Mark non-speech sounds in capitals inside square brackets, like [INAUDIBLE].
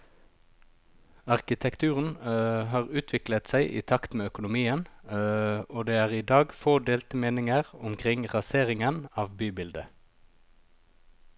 Arkitekturen [HESITATION] har utviklet seg i takt med økonomien, [HESITATION] og det er i dag få delte meninger omkring raseringen av bybildet.